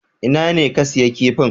Ina ne ka siya kifin?